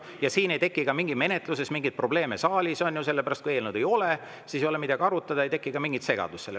Ja siis ei teki ka saalis menetluses mingeid probleeme, on ju, sellepärast et kui eelnõu ei ole, siis ei ole midagi arutada, ei teki mingit segadust.